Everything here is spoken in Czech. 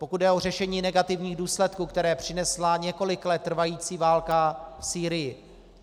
Pokud jde o řešení negativních důsledků, které přinesla několik let trvající válka v Sýrii.